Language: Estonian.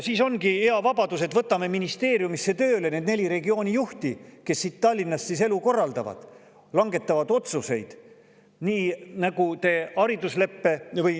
Siis ongi hea vabadus, et võtame ministeeriumisse tööle need neli regioonijuhti, kes siit Tallinnast elu korraldavad ja otsuseid langetavad.